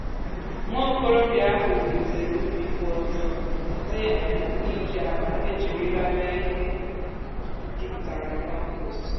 nwa okorobịa ahụ wulitere ubi kwụ ọtọ site um n'iji akpa e jirila mee ihe juputara na kọmpost.